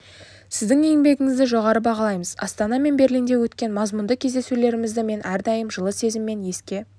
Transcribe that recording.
сіздің еңбегіңізді жоғары бағалаймыз астана мен берлинде өткен мазмұнды кездесулерімізді мен әрдайым жылы сезіммен еске